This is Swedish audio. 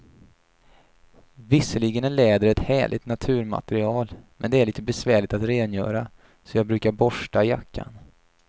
Visserligen är läder ett härligt naturmaterial, men det är lite besvärligt att rengöra, så jag brukar borsta jackan.